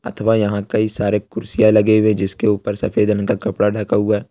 अथवा यहां कई सारे कुर्सियां लगे हुए जिसके ऊपर सफेद रंग का कपड़ा ढका हुआ है।